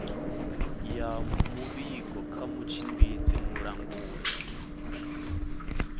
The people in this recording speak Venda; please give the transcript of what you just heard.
ya muvhigo kha mutshimbidzi mulanguli